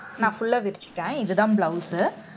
நான் full ஆ விரிச்சுட்டேன் இதுதான் blouse உ